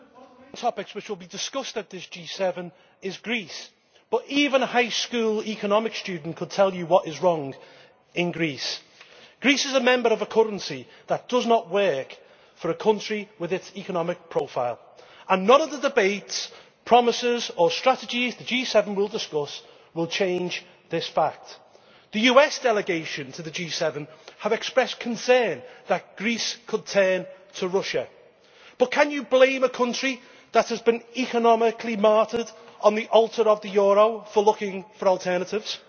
Madam President, one of the main topics that will be discussed at the G7 is Greece, but even a high school economics student could tell you what is wrong in Greece. Greece is a member of a currency that does not work for a country with its economic profile, and none of the debates, promises or strategies the G7 will discuss will change this fact. The US delegation to the G7 has expressed concern that Greece could turn to Russia, but can you blame a country that has been economically martyred on the altar of the euro for looking for alternatives?